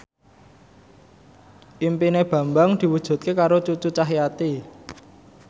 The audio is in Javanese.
impine Bambang diwujudke karo Cucu Cahyati